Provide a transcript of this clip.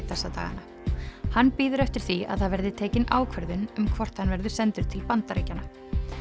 þessa dagana hann bíður eftir því að það verði tekin ákvörðun um hvort hann verður sendur til Bandaríkjanna